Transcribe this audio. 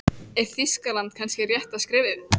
Er Þýskaland kannski rétta skrefið?